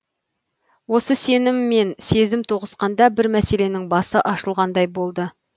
осы сенім мен сезім тоғысқанда бір мәселенің басы ашылғандай болды